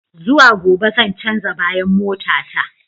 Zuwa gobe zan canza bayan mota ta.